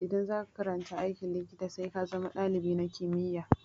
Idan za ka karanta aikin likita, sai ka zama dalibi na kimiyya.